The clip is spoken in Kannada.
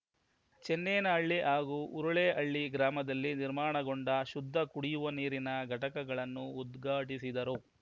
ಚನ್ನೇನಹಳ್ಳಿ ಹಾಗೂ ಹುರುಳೇಹಳ್ಳಿ ಗ್ರಾಮದಲ್ಲಿ ನಿರ್ಮಾಣಗೊಂಡ ಶುದ್ಧ ಕುಡಿಯುವ ನೀರಿನ ಘಟಕಗಳನ್ನು ಉದ್ಘಾಟಿಸಿದರು